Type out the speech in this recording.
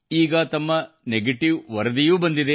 ಈಗ ತಮ್ಮ ನೆಗೆಟಿವ್ ವರದಿಯೂ ಬಂದಿದೆ